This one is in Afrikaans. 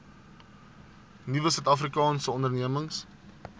nuwe suidafrikaanse ondernemings